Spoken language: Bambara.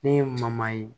Ne ye ye